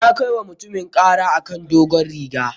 Na kai wa mutumin ƙara a kan dogon rigar.